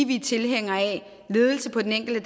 vi er tilhængere af ledelse på den enkelte